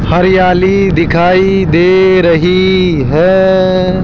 हरियाली दिखाई दे रही हैं।